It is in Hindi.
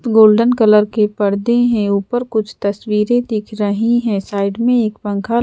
गोल्डन कलर के पर्दे हैं ऊपर कुछ तस्वीरें दिख रही हैं साइड में एक पंखा--